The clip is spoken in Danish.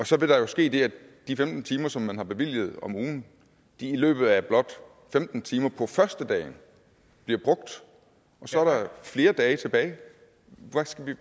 så vil der jo ske det at de femten timer som man har bevilget om ugen i løbet af blot femten timer på førstedagen bliver brugt og så er der flere dage tilbage